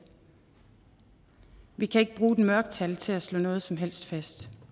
vi kan ikke bruge et mørketal til at slå noget som helst fast